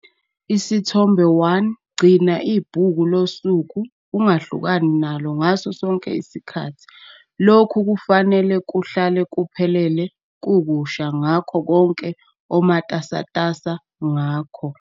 Isithombe 1- Gcina ibhuku losuku ungahlukani nalo ngaso sonke isikhathi. Lokhu kufanele kuhlale kuphelele kukusha ngakho konke omatasatasa ngakho.